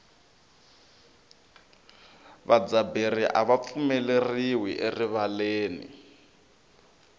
vadzaberi ava pfumeleriwi erivaleni